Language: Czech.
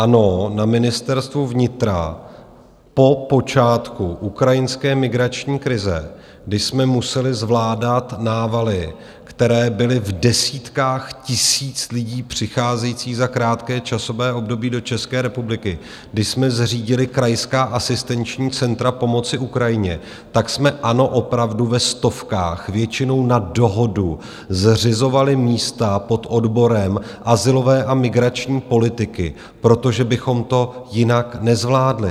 Ano, na Ministerstvu vnitra po počátku ukrajinské migrační krize, kdy jsme museli zvládat návaly, které byly v desítkách tisíc lidí přicházejících za krátké časové období do České republiky, když jsme zřídili Krajská asistenční centra pomoci Ukrajině, tak jsme, ano, opravdu ve stovkách, většinou na dohodu, zřizovali místa pod odborem azylové a migrační politiky, protože bychom to jinak nezvládli.